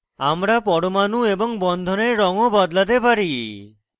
আমরা পরমাণু এবং বন্ধনের রঙ of বদলাতে পারি